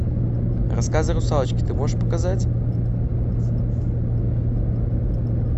рассказы русалочки ты можешь показать